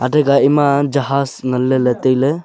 taga ema jahas ngan lele taile.